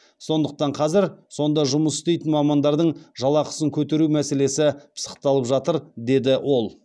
сондықтан қазір сонда жұмыс істейтін мамандардың жалақысын көтеру мәселесі пысықталып жатыр деді ол